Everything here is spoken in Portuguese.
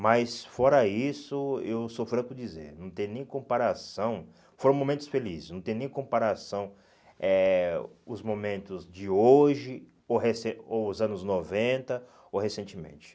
Mas, fora isso, eu sou franco dizer, não tem nem comparação, foram momentos felizes, não tem nem comparação eh os momentos de hoje, ou recen ou os anos noventa, ou recentemente.